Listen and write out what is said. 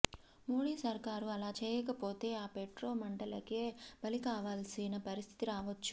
మోడీ సర్కారు అలా చేయకపోతే ఆ పెట్రో మంటలకే బలికావాల్సిన పరిస్థితి రావొచ్చు